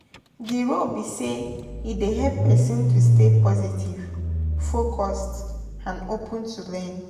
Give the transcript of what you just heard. di role be say e dey help pesin to stay positive, focused and open to learn.